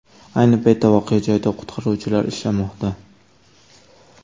Ayni paytda voqea joyida qutqaruvchilar ishlamoqda.